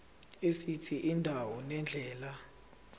esithi indawo nendlela